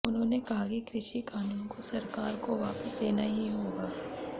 उन्होने कहा कि कृषि कानूनों को सरकार को वापस लेना ही होगा